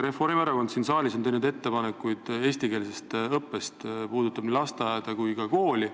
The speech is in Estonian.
Reformierakondki on siin saalis teinud ettepanekuid eestikeelse õppe kohta nii lasteaias kui ka koolis.